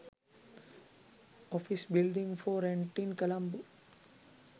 office building for rent in colombo